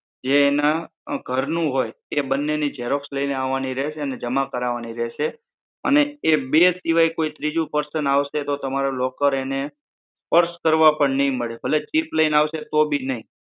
જે એના ઘરનું હોય એ બંને ની XEROX લઈને આવાની રહેશે અને જમા કરાવાની રહેશે અને એ બે સિવાય કોઈ ત્રીજું person આવશે તો તમારા locker એને સ્પર્શ કરવા પણ નહિ મળે ભલે chip લઈને આવશે તો બી નઈ